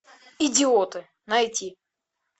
идиоты найти